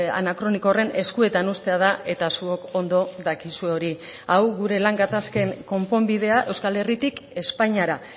anakroniko horren eskuetan uztea da eta zuok ondo dakizue hori hau gure lan gatazken konponbidea euskal herritik espainiara